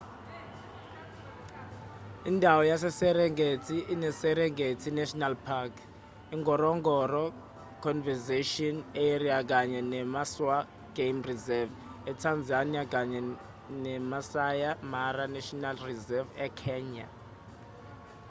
indawo yaseserengeti ineserengeti national park ingorongoro conservation area kanye nemaswa game reserve etanzania kanye nemaasai mara national reserve ekenya